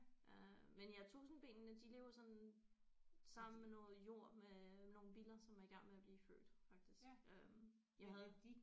Øh men ja tusindbenene de lever sådan sammen med noget jord med nogle biller som er i gang med at blive født faktisk øh jeg havde